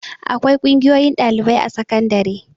Akwai ƙungiyoyin ɗalibai a sakandare.